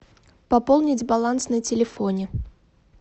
пополнить баланс на телефоне